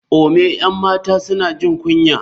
ome 'yan mata suna jin kunya.